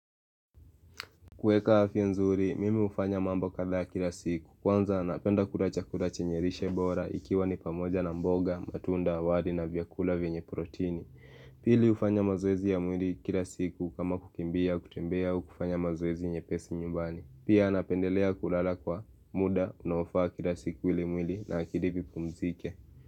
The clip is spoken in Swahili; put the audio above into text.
Kuweka afya nzuri, mimi hufanya mambo kadhaa kila siku. Kwanza, napenda kula chakula chenye lishe bora ikiwa ni pamoja na mboga, matunda, wali na vyakula vyenye protini. Pili hufanya mazoezi ya mwili kila siku kama kukimbia kutembea au kufanya mazoezi nyepesi nyumbani. Pia napendelea kulala kwa muda, unaofaa kila siku ili mwili na akili vipumzike.